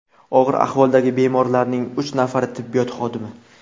Og‘ir ahvoldagi bemorlarning uch nafari tibbiyot xodimi.